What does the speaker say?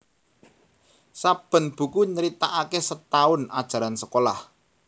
Saben buku nyritakake setaun ajaran sekolah